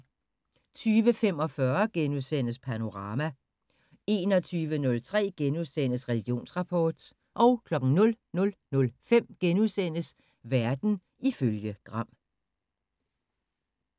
20:45: Panorama * 21:03: Religionsrapport * 00:05: Verden ifølge Gram *